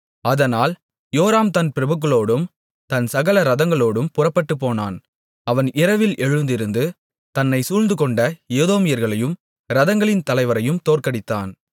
அதனால் யோராம் தன் பிரபுக்களோடும் தன் சகல இரதங்களோடும் புறப்பட்டுப்போனான் அவன் இரவில் எழுந்திருந்து தன்னைச் சூழ்ந்துகொண்ட ஏதோமியர்களையும் இரதங்களின் தலைவரையும் தோற்கடித்தான்